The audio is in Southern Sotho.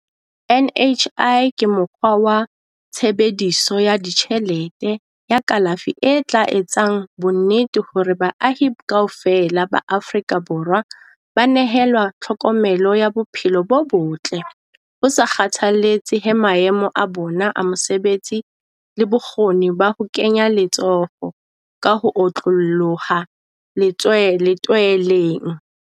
NHI ke mokgwa wa tshebe diso ya ditjhelete ya kalafi e tla etsang bonnete ba hore baahi kaofela ba Aforika Borwa ba nehelwa tlhokomelo ya bophe lo bo botle ho sa kgathalletse he maemo a bona a mosebetsi le bokgoni ba ho kenya letso ho ka ho otlolloha le tswe letweleng.